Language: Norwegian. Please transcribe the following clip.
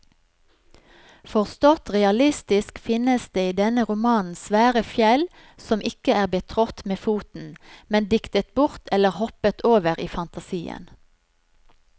Forstått realistisk finnes det i denne romanen svære fjell som ikke er betrådt med foten, men diktet bort eller hoppet over i fantasien.